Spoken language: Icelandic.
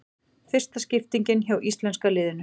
Fyrsta skiptingin hjá íslenska liðinu